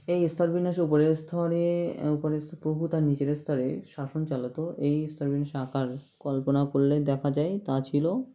এই স্তর বিন্যাসে ওপরের স্তরে ওপরে প্রভু তার নীচেরের স্তরে শাসন চালাতো এই স্তরের আকার কল্পনা করলে দেখা যায় তা ছিল